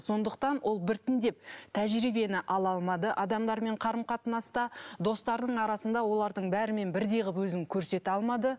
сондықтан ол біртіндеп тәжірибені ала алмады адамдармен қарым қатынаста достарының арасында олардың бәрімен бірдей қылып өзін көрсете алмады